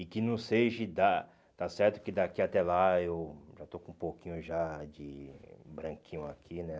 E que não seja da... está certo que daqui até lá eu já eu eu estou com um pouquinho já de branquinho aqui, né?